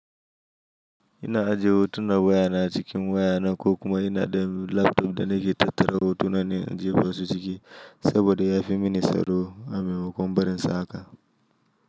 Ina aje hotuna waya na cikin waya na ko kuma ina da laptop da nake tattara hotuna na in jefa su ciki saboda ya fi mini tsaro a maimakon barin su haka.